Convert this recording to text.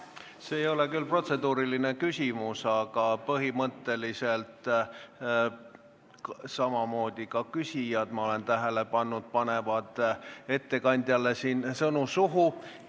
See ei ole küll protseduuriline küsimus, aga ma olen tähele pannud, et põhimõtteliselt samamoodi ka küsijad panevad ettekandjale sõnu suhu.